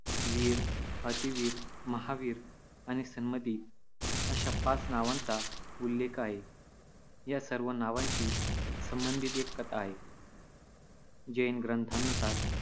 वीर, अतिवीर, महावीर आणि सन्मती अशा पाच नावांचा उल्लेख आहे. या सर्व नावांशी संबंधित एक कथा आहे. जैन ग्रंथानुसार,